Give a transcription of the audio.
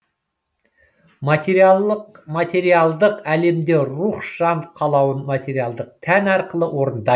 материалдық әлемде рух жан қалауын материялдық тән арқылы орындайды